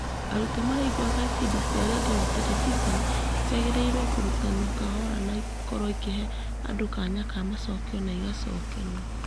Arutwo maraiguaga ibindi cia rendio na Terebiceni ciragĩrĩirwo kũrũtanwo kahora na ikorwo ikĩhe andũ kanya ka macokio na igacokerwo.